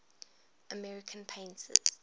american painters